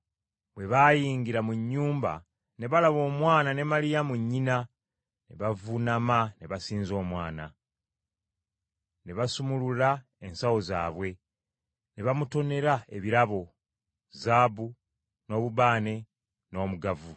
Bwe baayingira mu nnyumba ne balaba Omwana ne Maliyamu nnyina ne bavuunama ne basinza Omwana. Ne basumulula ensawo zaabwe, ne bamutonera ebirabo, zaabu, n’obubaane n’omugavu.